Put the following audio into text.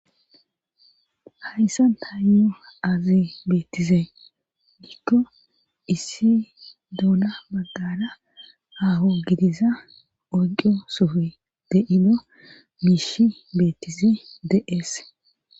hayssanni tayo aze beettize gikko issi doona baggara aaho gidiza oco sofe deino miishi beettise de7ees